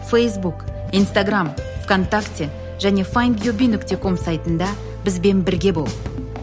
фейсбук инстаграмм в контакте және файндюби нүкте ком сайтында бізбен бірге бол